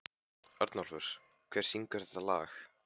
Örnólfur, hver syngur þetta lag?